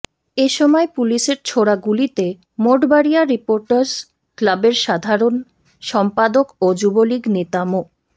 এ সময় পুলিশের ছোড়া গুলিতে মঠবাড়িয়া রিপোটার্স ক্লাবের সাধারণ সম্পাদক ও যুবলীগ নেতা মো